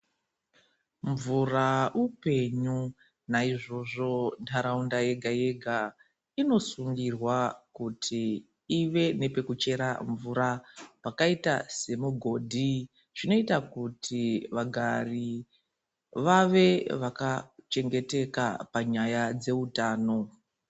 Mvura upenyu, naizvozvo ntaraunda yega yega inosungirwa kuti ive nepekuchera mvura pakaita semugodhi. Zvinoita kuti vagari vave vakachengeteka panyaya dzehutano.